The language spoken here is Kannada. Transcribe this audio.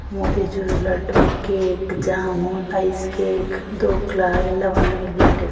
motichoor laddu cake jamun ice cake dhokla ಎಲ್ಲವನ್ನು ಇಲ್ಲಿ ಇಟ್ಟಿದ್ದ --